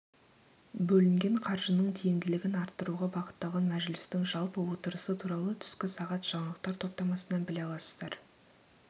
бөлінген қаржының тиімділігін арттыруға бағытталған мәжілістің жалпы отырысы туралы түскі сағат жаңалықтар топтамасынан біле аласыздар